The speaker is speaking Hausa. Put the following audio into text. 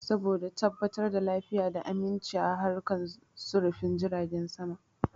Saboda tabbatar da lafiya da aminchi a harkan sufurin jiragen sama